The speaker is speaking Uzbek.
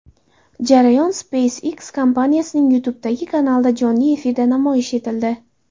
Jarayon SpaceX kompaniyasining YouTube’dagi kanalida jonli efirda namoyish etildi.